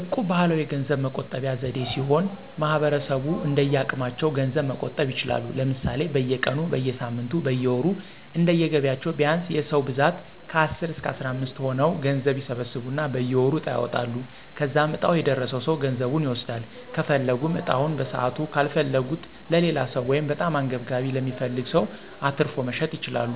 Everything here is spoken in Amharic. እቁብ ባህላዊ የገንዘብ መቆጠቢያ ዘዴ ሲሆን ማህበረሰቡ እንደየአቅማቸው ገንዘብ መቆጠብ ይችላሉ። ለምሳሌ፦ በየቀኑ, በየሳምንቱ ,በየወሩ እንደየገቢያቸው ቢያንስ የ ሰዉ ብዛት ከአስር እስከ አስራምስት ሆነው ገንዘብ ይሰበስቡና በየወሩ ዕጣ ያወጣሉ. ከዛም ዕጣው የደረሰው ሰው ገንዘቡን ይወስዳል .ከፈለጉም ዕጣውን በሰዓቱ ካልፈለጉት ለሌላው ሰው(በጣም አንገብጋቢ ለሚፈልግ ሰው)አትርፎ መሸጥ ይችላሉ።